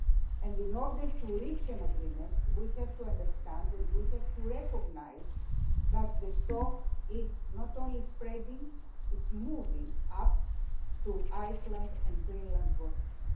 and in order to reach an agreement we have to understand and we have to recognise that the stock is not only spreading, it is moving up to Icelandic and Greenland waters.